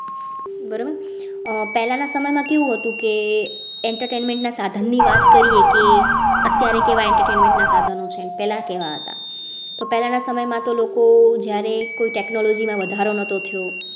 બરાબર પહેલા ના સમય માં કેવું હતું કે entertainment ના સાધન ની વાત કરીયે કે અત્યારે કેવા entertainment સાધનો છે ને પેલા કેવા હતા તો પહેલા ના સમય માં તો લોકો જ્યારે કોઈ technology માં વધારો નહતો થયો